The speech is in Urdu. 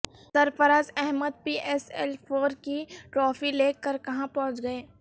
سرفراز Ahmed P S L four کی ٹرافی لے کر کہاں پہنچ گئے